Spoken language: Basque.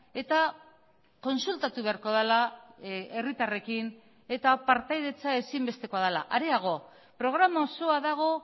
eta kontsultatu beharko dela herritarrekin eta partaidetza ezinbestekoa dela areago programa osoa dago